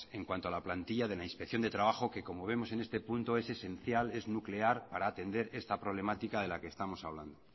en cuanto a la plantilla de la inspección de trabajo que como vemos en este punto es esencial es nuclear para atender esta problemática de la que estamos hablando